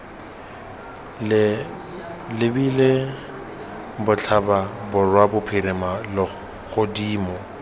lebile botlhaba borwa bophirima godimo